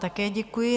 Také děkuji.